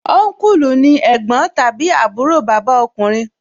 Ọnkulu ni ẹ̀gbọ́n tàbí àbúrò bàbá ọkùnrin